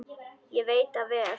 Ég veit það vel!